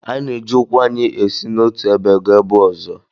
Anyị na-eji ụkwụ anyị esi n’otu ebe gaa ebe ọzọ